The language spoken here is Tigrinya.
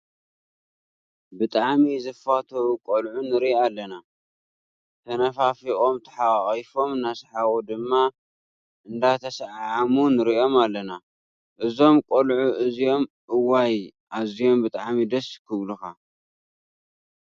ብጣዕሚ ዝፋተው ቆልዑ ንርኢ አለና። ተነፋፊቆም ተሓቋቒፎም እናሰሓቁ ድማ እንዳተሰዓዓሙ ንሪኦም ኣለና። እዞም ቆልዑ እዚኦም እዋይ ኣዝዮም ብጣዕሚ ደስ ክብሉኳ ።